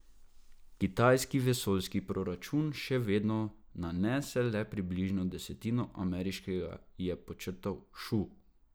Kitajski vesoljski proračun še vedno nanese le približno desetino ameriškega, je podčrtal Šu.